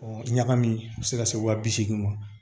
Ɔ ɲagami a bɛ se ka se wa bi seegin ma